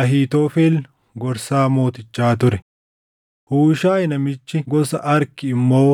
Ahiitofel gorsaa mootichaa ture. Huushaayi namichi gosa Arki immoo